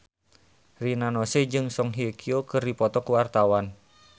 Rina Nose jeung Song Hye Kyo keur dipoto ku wartawan